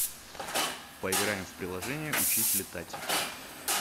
поиграем в приложение учись летать